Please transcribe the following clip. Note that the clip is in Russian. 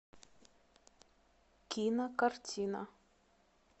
кинокартина